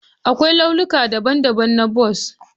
Akwai launuka daban-daban na bas